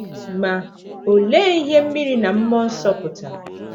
Ma, olee ihe “ mmiri na mmụọ nsọ ” pụtara?